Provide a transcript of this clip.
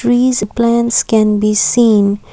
trees plants can be seen.